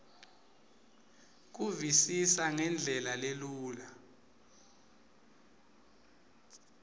kuvisisa ngendlela lelula